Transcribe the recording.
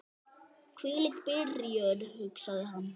Hvílík byrjun, hugsaði hann.